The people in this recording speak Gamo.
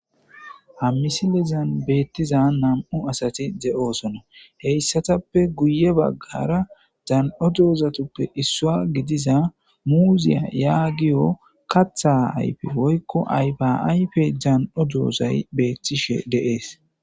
Ha misilizan beettiza nam'u asati ze'oosona heyssatappe guye baggara dan'o doozatuppe issua gidiza muuziya yaagiyo katha ayfe woykko aybaaype dan'o doozay beetishe deees.